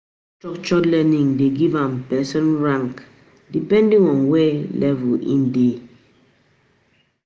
Structured learning de give am person rank depending on where level in de